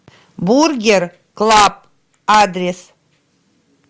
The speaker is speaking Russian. бургер клаб адрес